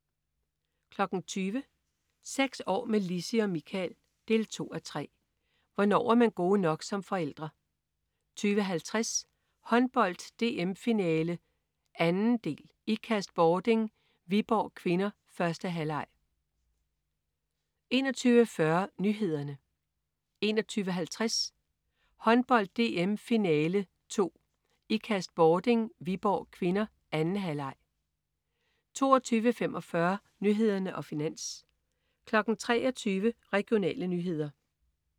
20.00 Seks år med Lissi og Michael 2:3. Hvornår er man gode nok som forældre? 20.50 Håndbold: DM-finale 2. Ikast/Bording-Viborg (k). 1. halvleg 21.40 Nyhederne 21.50 Håndbold: DM-finale 2. Ikast/Bording-Viborg (k). 2. halvleg 22.45 Nyhederne og Finans 23.00 Regionale nyheder